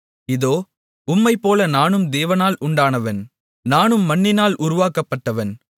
இதோ உம்மைப்போல நானும் தேவனால் உண்டானவன் நானும் மண்ணினால் உருவாக்கப்பட்டவன்